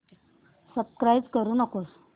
subscribe करू नको